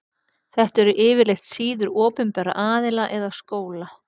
Þetta eru yfirleitt síður opinberra aðila eða skóla.